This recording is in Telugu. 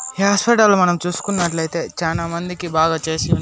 ఈ హాస్పిటల్ నీ మనం చూసుకునట్లయితే చానా మందికి బాగుచేసి ఉన్నారు.